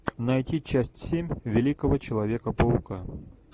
найти часть семь великого человека паука